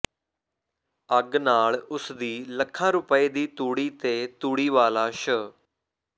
ਅੱਗ ਨਾਲ ਉਸ ਦੀ ਲੱਖਾਂ ਰੁਪਏ ਦੀ ਤੂੜੀ ਤੇ ਤੂੜੀ ਵਾਲਾ ਸ਼